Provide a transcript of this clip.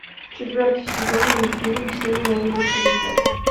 четвертый сезон мультфильм все ненавидят криса